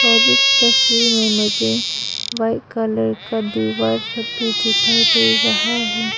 में मुझे white colour का दीवार सब दिखाई दे रहा है।